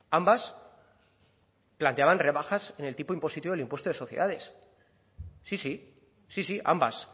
ambas planteaban rebajas en el tipo impositivo del impuesto de sociedades sí sí sí sí ambas